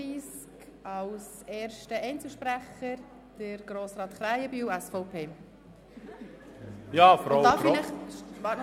Als erster Einzelsprecher kommt Grossrat Krähenbühl zu Wort.